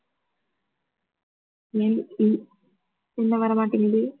என்ன வரமாட்டிங்குது